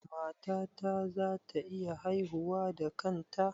Matata za ta iya haihuwa da kanta?